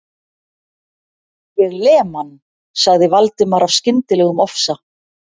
Ég lem hann.- sagði Valdimar af skyndilegum ofsa